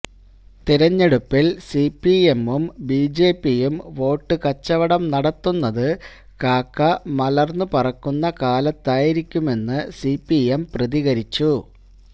തെരഞ്ഞെടുപ്പിൽ സിപിഎമ്മും ബിജെപിയും വോട്ട് കച്ചവടം നടത്തുന്നത് കാക്ക മലർന്ന് പറക്കുന്ന കാലത്തായിരിക്കുമെന്ന് സിപിഎം പ്രതികരിച്ചു